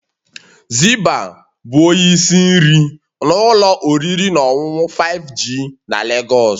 Zibah ​​bụ onye isi nri n'ụlọ oriri na ọṅụṅụ 5G na Lagos